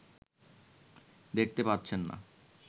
দেখতে পাচ্ছেন না